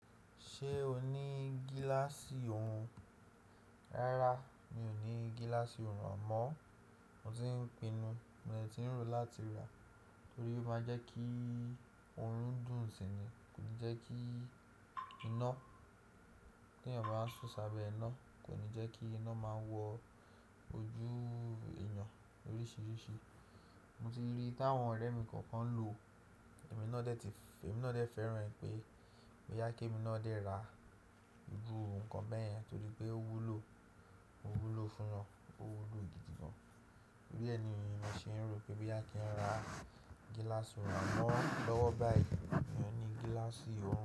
Ṣé o ní gíláàsì òòrùn? Rárá, mi ò ní gíláàsì òòrùn àmọ́ mo ti ń pinnu, mo ti ń ro láti rà á torí ó máa ń jẹ́ kí òrùn dùn si ni, kò ní jẹ́ kí iná, kí èèyàn báa ń ṣún sábẹ́ iná, kò ní jẹ́ kí iná máa wọ ojú èèyàn oríṣìíríṣìí. Mo ti rí í táwọn ọ̀rẹ́ mi kọ̀ọ̀kan ń lò, èmi náà dẹ̀ ti fẹ́, èmi náà dẹ̀ fẹ́ràn rẹ̀ pé mo yá ké èmi náà dé ra irú nǹkan bẹ́ẹ̀ yẹn torí pé ó wúlò, ó wúlò fún yan, ó wúlò gidi gan. Bẹ́ẹ̀ ni mo sì ń ro pé bó yá kí n ra gíláàsì òòrùn àmọ́ lọ́wọ́ báyìí, mi ò ní gíláàsì òòrùn.